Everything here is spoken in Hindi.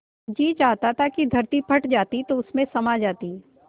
जी चाहता था कि धरती फट जाती तो उसमें समा जाती